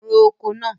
Ro oko náà!